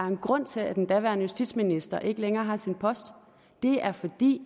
en grund til at den daværende justitsminister ikke længere har sin post det er fordi